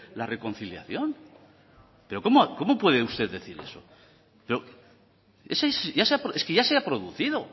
la reconciliación pero cómo puede usted decir eso es que ya se ha producido